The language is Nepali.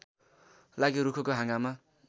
लागि रूखको हाँगामा